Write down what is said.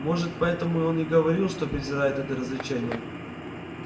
может поэтому он и говорил что презирает это развлечение